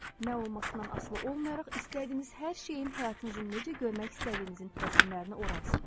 Nə olmasından asılı olmayaraq istədiyiniz hər şeyin həyatınızın necə görmək istədiyinizin rəssimlerini oralsın.